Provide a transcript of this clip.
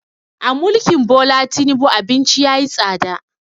A mulkin Bola Tinubu abinci yayi tsada